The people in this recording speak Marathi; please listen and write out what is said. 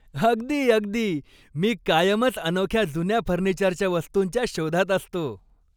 अगदी अगदी! मी कायमच अनोख्या जुन्या फर्निचरच्या वस्तूंच्या शोधात असतो.